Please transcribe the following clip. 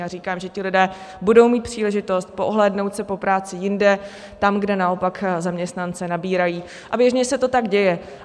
Já říkám, že ti lidé budou mít příležitost poohlédnout se po práci jinde tam, kde naopak zaměstnance nabírají, a běžně se to tak děje.